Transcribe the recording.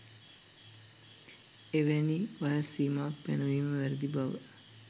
එවැනි වයස් සීමාවක් පැනවීම වැරදි බව